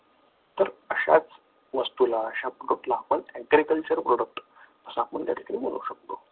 तर अशाच वस्तूला अशा product ला आपण agriculture product असा आपण त्या ठिकाणी बोलू शकतो.